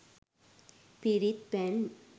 පිරිත්පැන්